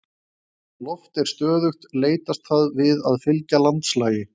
Þegar loft er stöðugt leitast það við að fylgja landslagi.